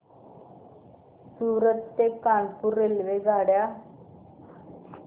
सूरत ते कानपुर रेल्वेगाड्या